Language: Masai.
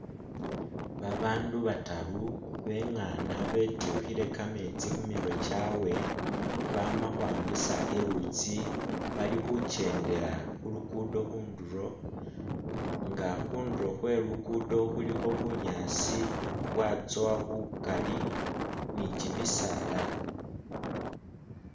Babandu bataru bekhala betyukhile kametsi khumirwe kyabwe bamakhwamisa ilutsi bali khukendela khulugudo khundulo nga khundulo khwe lugudo khulikho bunyaasi bwatsowa bukali ne kimisaala